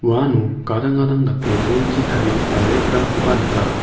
uano gadang gadang dake bolchi tarigipa rack-rangkoba nika.